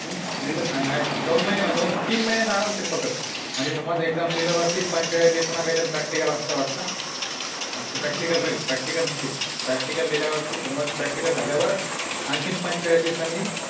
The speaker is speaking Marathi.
हम्म दोन महिने तीन महिने आरामशीर पकड म्हणजे समझ Exam दिल्यावर पंचेचाळीस दिवसांनी Practical असत वाटत म्हणजे Practical practical practical दिल्यावर समाजच झाल्यावर आणखी पंचेचाळीस दिवसांनी